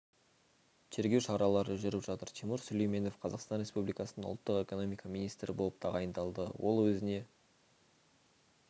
тергеу шаралары жүріп жатыр тимур сүлейменов қазақстан республикасының ұлттық экономика министрі болып тағайындалды ол өзіне